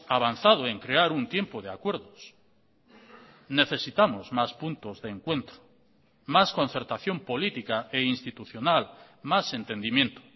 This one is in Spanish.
avanzado en crear un tiempo de acuerdos necesitamos más puntos de encuentro más concertación política e institucional más entendimiento